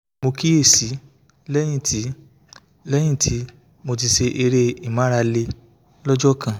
mo kíyè sí i lẹ́yìn tí lẹ́yìn tí mo ti ṣe eré ìmárale lọ́jọ́ kan